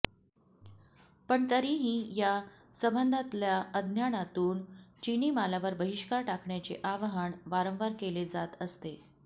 पण तरीही या संबंधातल्या अज्ञानातून चिनी मालावर बहिष्कार टाकण्याचे आवाहन वारंवार केले जात असते